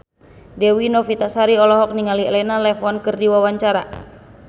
Dewi Novitasari olohok ningali Elena Levon keur diwawancara